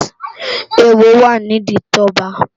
Éwó wá ni idi Toba